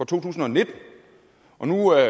tusind og nitten og nu er